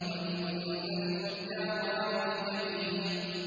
وَإِنَّ الْفُجَّارَ لَفِي جَحِيمٍ